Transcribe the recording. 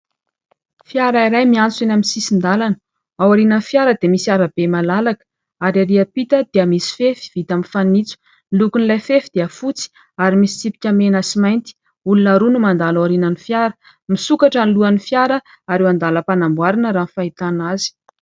Fiara iray miantsona eny amin'ny sisin-dàlana. Ao aorian'ny fiara dia misy arabe malalaka ary ery ampita dia misy fefy vita aminy fanitso . Ny lokon'ilay fefy dia fotsy ary misy tsipika mena sy mainty. Olona roa no mandalo aorinan'ny fiara. Misokatra ny eo alohan'ny fiara ary eo an-dalam-panamboarana raha ny fahitana azy.